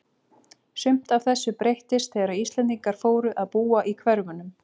Sumt af þessu breyttist þegar Íslendingar fóru að búa í hverfunum.